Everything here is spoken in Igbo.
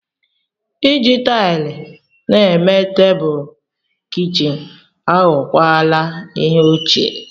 Iji taịlị na-eme tebụl kichin aghọwala ihe ochie.